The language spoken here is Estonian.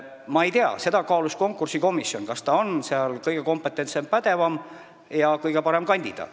Ma ei tea, konkursikomisjon kaalus seda, kas ta oli sinna kõige pädevam ja kõige parem kandidaat.